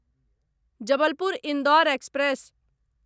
Jabalpur Indore express